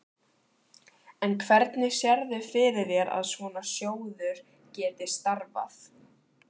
En hvernig sérðu fyrir þér að svona sjóður geti starfað?